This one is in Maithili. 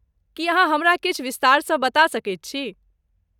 की अहाँ हमरा किछु विस्तारसँ बता सकैत छी?